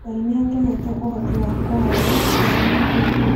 Ngai nĩ atũheete ũhoti wa kwaria, kuona, na kũigua.